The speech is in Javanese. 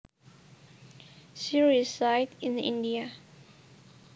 She resides in India